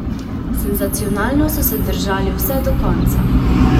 Senzacionalno so se držali vse do konca.